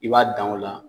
I b'a dan o la